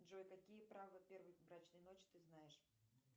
джой какие право первой брачной ночи ты знаешь